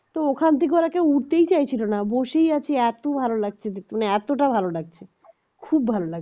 তো ওখান থেকে ওরা কেও উঠতেই চাইছিল না বসেই আছে এত ভালো লাগছে মানে এতটা ভাল লাগছে খুব ভালো লাগছে